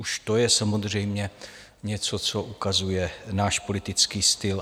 Už to je samozřejmě něco, co ukazuje náš politický styl.